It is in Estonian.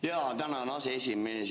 Jaa, tänan, aseesimees!